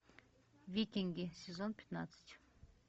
викинги сезон пятнадцать